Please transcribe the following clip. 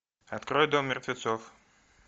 открой дом мертвецов